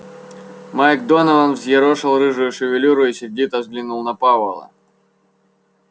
майк донован взъерошил рыжую шевелюру и сердито взглянул на пауэлла